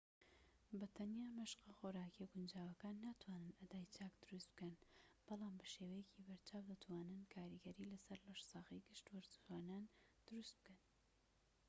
بە تەنیا مەشقە خۆراکییە گونجاوەکان ناتوانن ئەدای چاک دروست بکەن بەڵام بە شێوەیەکی بەرچاو دەتوانن کاریگەری لەسەر لەشساغی گشت وەرزشوانان دروست بکەن